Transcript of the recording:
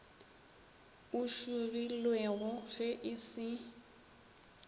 o šogilwego ge e se